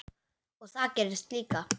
Og það gerðist líka.